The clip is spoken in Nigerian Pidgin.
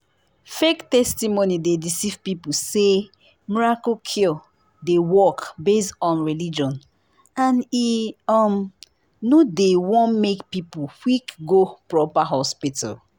fake testimony dey deceive people say miracle cure dey work based on religion and e um no dey won make people quick go proper hospital.